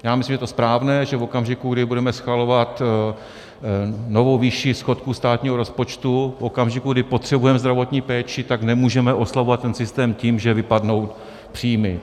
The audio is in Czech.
Já myslím, že to je správné, že v okamžiku, kdy budeme schvalovat novou výši schodku státního rozpočtu, v okamžiku, kdy potřebujeme zdravotní péči, tak nemůžeme oslabovat ten systém tím, že vypadnou příjmy.